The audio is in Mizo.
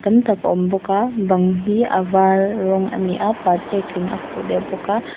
tam tak a awm bawk a bang hi a var rawng a ni a pat ekin a khuh deuh bawk a.